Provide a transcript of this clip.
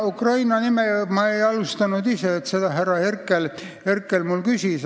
Ukraina teemat ei alustanud ma ise, selle kohta härra Herkel minult küsis.